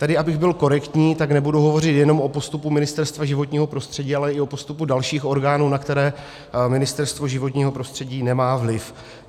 Tedy abych byl korektní, tak nebudu hovořit jenom o postupu Ministerstva životního prostředí, ale i o postupu dalších orgánů, na které Ministerstvo životního prostředí nemá vliv.